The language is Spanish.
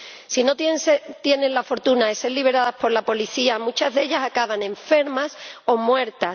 Si no tienen la fortuna de ser liberadas por la policía, muchas de ellas acaban enfermas o muertas.